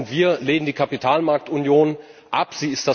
Wir lehnen die Kapitalmarktunion ab.